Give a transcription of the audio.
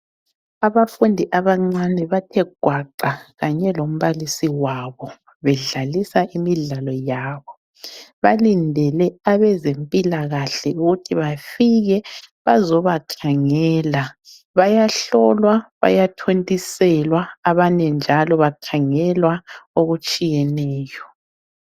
Abafundi abancane bathe gwaqa kanye lombalisi wabo bedlalisa imidlalo yabo, balindele abezempilakahle ukuthi bafike bazobakhangela, bayahlolwa bayathontiselwa abanye njalo bakhangelwa okutshiyeneyo